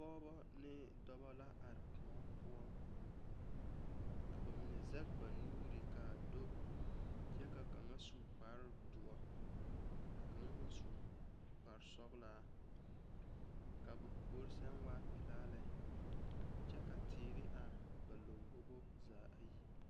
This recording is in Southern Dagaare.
Pɔgeba ane dɔba la are kóɔ poɔ ka ba mine sɛge ba nuure kaa do kyɛ ka kaŋa su kparre doɔ ka kaŋa meŋ su kparre sɔgelaa ka ba puori sɛŋ waa pelaa lɛ kyɛ ka teere are ba lambobo zaa ayi